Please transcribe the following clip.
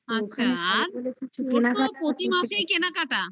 আচ্ছা আর তো প্রতি মাসেই কেনাকাটা